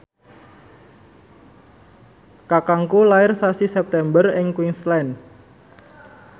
kakangku lair sasi September ing Queensland